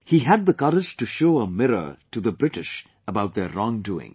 He had the courage to show a mirror to the British about their wrong doings